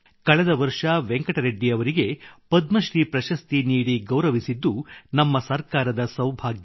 ಕಳೆದ ವರ್ಷ ವೆಂಕಟ ರೆಡ್ಡಿ ಅವರಿಗೆ ಪದ್ಮಶ್ರೀ ಪ್ರಶಸ್ತಿ ನೀಡಿ ಗೌರವಿಸಿದ್ದು ನಮ್ಮ ಸರ್ಕಾರದ ಸೌಭಾಗ್ಯ